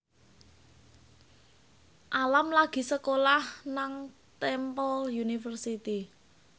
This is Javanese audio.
Alam lagi sekolah nang Temple University